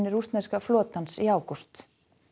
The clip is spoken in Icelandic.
rússneska flotans í ágúst